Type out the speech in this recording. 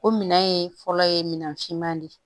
O minɛn ye fɔlɔ ye minan finman de ye